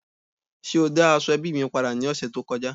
Ṣe o da aseobi mi pada ni ọsẹ to kọja?